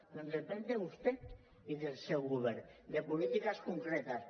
doncs depèn de vostè i del seu govern de polítiques concretes